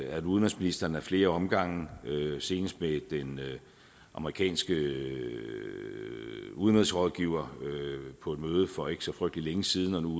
at udenrigsministeren ad flere omgange senest med den amerikanske udenrigsrådgiver på et møde for ikke så frygtelig længe siden og nu